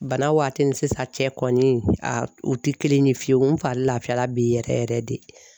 Bana waati ni sisan cɛ kɔni aa u te kelen ye fiyewu n fari lafiya la bi yɛrɛ yɛrɛ de